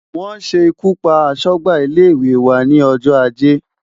Wọ́n ṣe ikú pa aṣọ́gbà ilé-ìwé wa ní ọjọ́ ajé.